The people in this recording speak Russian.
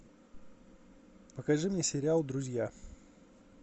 покажи мне сериал друзья